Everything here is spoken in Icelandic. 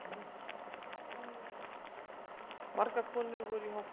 Margar konur voru í hópnum